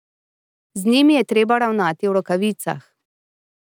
Z njimi je treba ravnati v rokavicah.